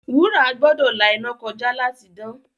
Wúrà gbọ́dọ̀ la iná kọjá láti dán.